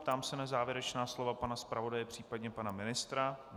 Ptám se na závěrečná slova pana zpravodaje, případně pana ministra.